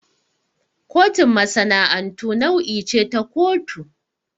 Kotun masana'antu nau'i ce ta kotu.